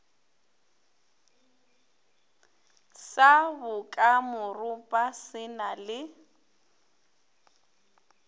sa bokamoropa se na le